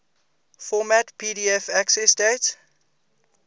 format pdf accessdate